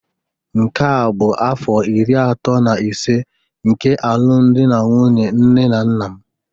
Nke a bụ afọ iri atọ na ise nke alụmdi na nwunye nne na nna m